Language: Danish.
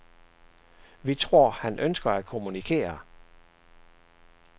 Vi tror han ønsker at kommunikere.